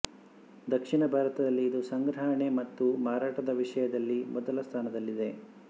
ದಕ್ಷಿಣ ಭಾರತದಲ್ಲಿ ಇದು ಸಂಗ್ರಹಣೆ ಮತ್ತು ಮಾರಾಟದ ವಿಷಯದಲ್ಲಿ ಮೊದಲ ಸ್ಥಾನದಲ್ಲಿದೆ